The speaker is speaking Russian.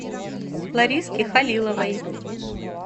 лариске халиловой